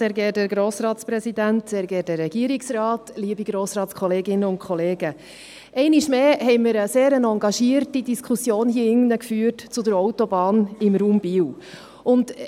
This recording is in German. Einmal mehr haben wir hier drin eine sehr engagierte Diskussion zur Autobahn im Raum Biel geführt.